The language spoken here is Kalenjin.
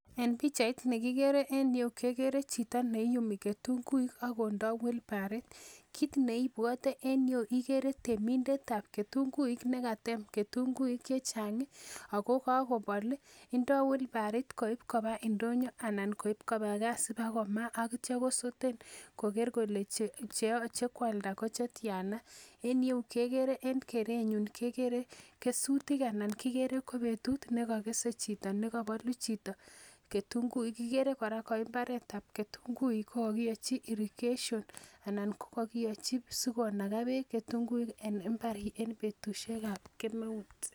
En pichait nekikere en yu kekere chito neiyumi ketunguik akondoi wilbaroit kiit neibwotei en yu ikere temindetab ketunguik nekatem ketunguik chechang' ako kakobol indoi wilbaroit koib kopa ndonyo anan koib koba kaa asipikomaa akityo kosoten koker kele cheochei koaldo ko tyana en yu kekere en kerenyon kekere kesutik anan kikere ko betutut nekakesei chito nekabolu chito ketunguik kikere kora ko imbaretab ketunguik ko kakiyoichi irrigation anan kokakiochi sikonaka beek ketunguik en imbar en betushiekab kila